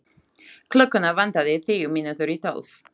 Klukkuna vantaði tíu mínútur í tólf.